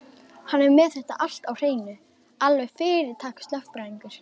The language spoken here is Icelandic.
Hann er með þetta allt á hreinu, alveg fyrirtaks-lögfræðingur.